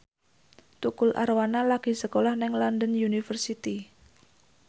Tukul Arwana lagi sekolah nang London University